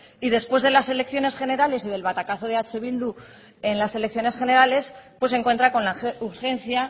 y después de las elecciones generales y del batacazo de eh bildu en las elecciones generales pues se encuentra con la urgencia